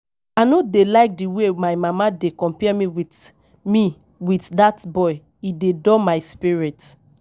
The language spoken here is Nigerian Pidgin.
I no dey like the way my mama dey compare me with me with dat boy, e dey dull my spirit